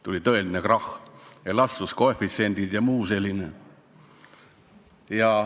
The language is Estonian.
Tuli välja tõeline krahh, elastsuskoefitsiendid jms.